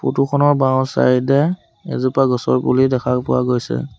Photo খনৰ বাওঁ side এ এজোপা গছৰ পুলি দেখা পোৱা গৈছে।